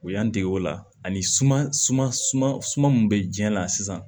U y'an dege o la ani suma suma suma min bɛ diɲɛ la sisan